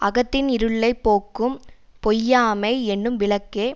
அகத்தின் இருளை போக்கும் பொய்யாமை எனும் விளக்கே